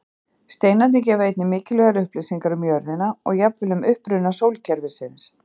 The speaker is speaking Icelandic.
Steinarnir gefa einnig mikilvægar upplýsingar um jörðina og jafnvel um uppruna sólkerfisins.